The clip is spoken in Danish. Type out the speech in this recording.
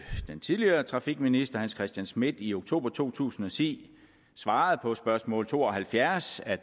tidligere trafikminister hans christian schmidt i oktober to tusind og ti svarede på spørgsmål to og halvfjerds at